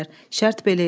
Şərt belə idi.